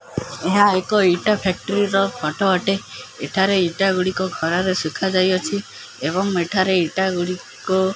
ଏହା ଏକ ଇଟା ଫ୍ୟାକ୍ଟ୍ରି ର ଫଟୋ ଅଟେ ଏଠାରେ ଇଟା ଗୋଡ଼ିକ ଖରା ରେ ଶୁଖା ଯାଇଅଛି ଏବଂ ଇଟା ଗୋଡ଼ିକୁ --